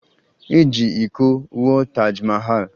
E ji iko wụọ Taj Mahal